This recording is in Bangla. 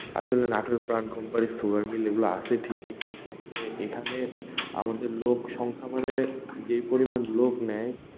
আসলে নাটোরে প্রাণ company sugar mill এগুলো আসে ঠিকই কিন্তু আসলে এইখানে আমাদের লোক সংখ্য়া মানে, যে পরিমাণ লোক নেয়,